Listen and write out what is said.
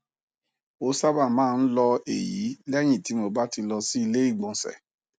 ó sábà máa ń lọ èyí lẹyìn tí mo bá ti lọ sí ilé ìgbọnsẹ